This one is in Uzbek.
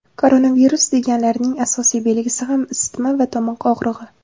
Koronavirus deganlarining asosiy belgisi ham isitma va tomoq og‘rig‘i.